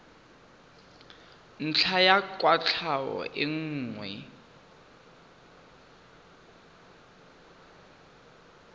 ntlha ya kwatlhao e nngwe